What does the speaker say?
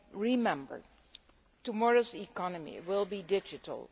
Remember, tomorrow's economy will be digital.